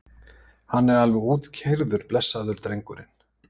Hann er alveg útkeyrður blessaður drengurinn.